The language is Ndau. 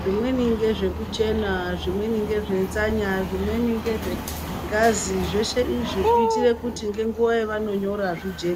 zvimweni ngezvekuchena, zvimweni ngezvenzanya, zvimweni ngezvengazi zveshe izvi kuitire kuti nguwa yavanonyora zvijeke.